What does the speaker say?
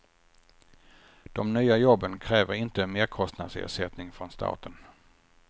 De nya jobben kräver inte merkostnadsersättning från staten.